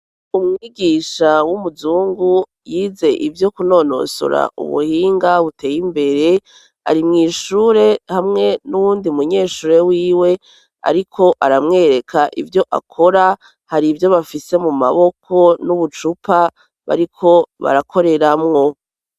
Umwigisha w'umuzungu yize ivyo kunonosora ubuhinga buteye imbere arimwishure hamwe n'uwundi munyeshure wiwe, ariko aramwereka ivyo akora hari ivyo bafise mu maboko n'ubucupa bariko barakoreramwo.